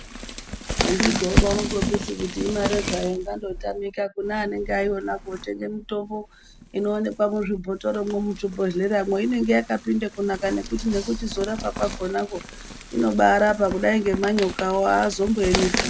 Anditi taidarosu kuti imare hayo ingandotamika kune anenge anayo otenge mutombo inooneka muzvibhotoromwo muzvibhodhleramwo inenge yakapinda kunaka nekuti pekuchizora pakonapo inombaarapa kudai ngemanyokawo aazomboemipo